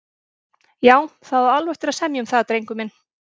Já, það á alveg eftir að semja um það, drengur minn.